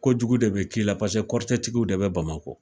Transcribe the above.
Ko jugu de bɛ k'i la paseke kɔrɔtɛtigiw de bɛ Bamakɔ.